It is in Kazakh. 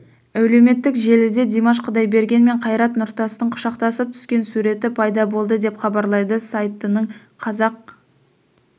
әлеуметтік желіде димаш құдайберген мен қайрат нұртастың құшақтасып түскен суреті пайда болды деп хабарлайды сайтының қазақ